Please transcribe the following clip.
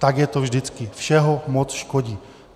Tak je to vždycky - všeho moc škodí.